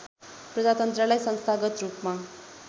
प्रजातन्त्रलाई संस्थागत रूपमा